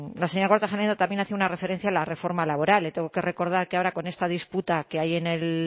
la señora kortajarena también hacía una referencia a la reforma laboral le tengo que recordar que ahora con esta disputa que hay en el